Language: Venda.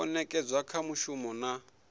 o nekedzwa kha muvhuso na